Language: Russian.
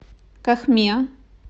кохме